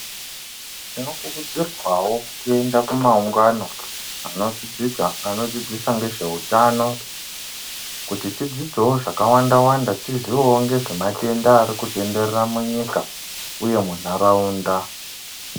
Tinokurudzirwawo kuenda kumaungano anodzidza anodzidzisa ngezveutano kuti tidzidzewo zvakawanda wanda tiziwewo ngezvematenda ari kutenderera munyika uye munharaunda.